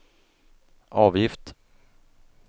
avgift